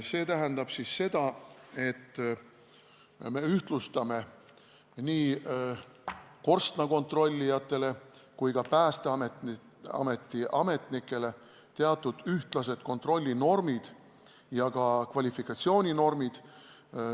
See tähendab seda, et me ühtlustame nii korstnakontrollijate kui ka Päästeameti ametnike jaoks kontrollinormid ja ka kvalifikatsiooninormid.